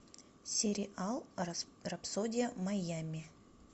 сериал рапсодия майами